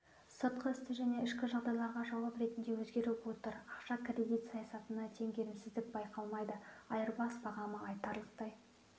сыртқы және ішкі жағдайларға жауап ретінде өзгеріп отыр ақша-кредит саясатында теңгерімсіздік байқалмайды айырбас бағамы айтарлықтай